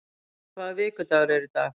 Eybjörg, hvaða vikudagur er í dag?